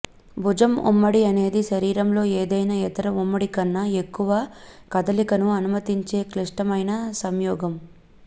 భుజం ఉమ్మడి అనేది శరీరంలో ఏదైనా ఇతర ఉమ్మడి కన్నా ఎక్కువ కదలికను అనుమతించే క్లిష్టమైన సంయోగం